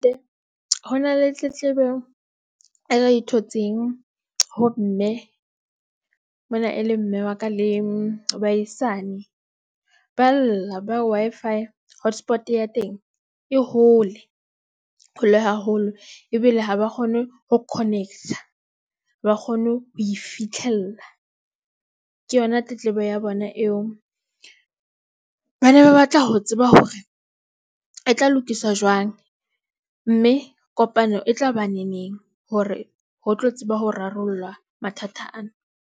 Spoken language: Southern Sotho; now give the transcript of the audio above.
Ho na le tletlebo e re, thotseng ho mme mona e le mme wa ka le baahisane ba lla ba re Wi-Fi hotspot ya teng e hole haholo ebile ha ba kgone ho connect-a ba ha ba kgone ho e fitlhella ke yona tletlebo ya bona eo. Ba ne ba batla ho tseba hore e tla lokiswa jwang mme kopano e tla ba neneng hore ho tlo tseba ho rarollwa mathata ana.